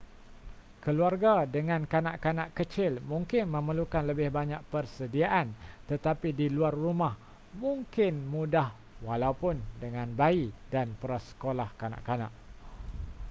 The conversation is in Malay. keluarga dengan kanak-kanak kecil mungkin memerlukan lebih banyak persediaan tetapi di luar rumah mungkin mudah walaupun dengan bayi dan prasekolah kanak-kanak